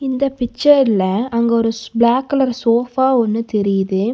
இந்த பிக்சர்ல அங்க ஒரு பிளாக்கலர் சோபா ஒன்னு தெரியுது.